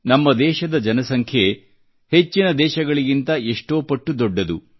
ನಮ್ಮ ದೇಶದ ಜನಸಂಖ್ಯೆ ಹೆಚ್ಚಿನ ದೇಶಗಳಿಂತ ಎಷ್ಟೋ ಪಟ್ಟು ದೊಡ್ಡದು